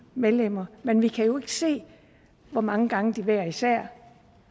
medlemmer men vi kan jo ikke se hvor mange gange de hver især